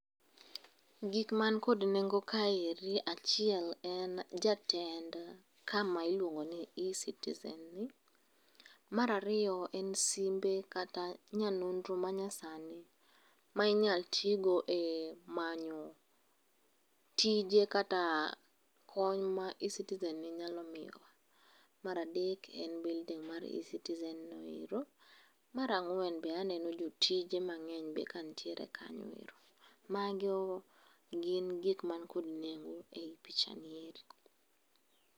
Gik man kod nengo ka eri achiel en jatend kama iluongo ni e-citizen ni mara riyo en simbe kata kata nyanonro manyasani ma inyalo tigo e manyo tije kata kony ma e-citizen nyalo miyowa, mar adek en building mar e-citizen no ero mar angwen be aneno jotije mang'eny be ka nitie kanyo ero mago gin gik mantie kod nengo e picha ni eri.